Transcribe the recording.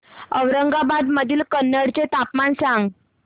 औरंगाबाद मधील कन्नड चे तापमान सांग